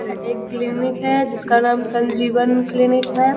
यह एक क्लीनिक है जिसका नाम संजीवन क्लीनिक है।